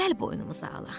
Gəl boynumuza alaq.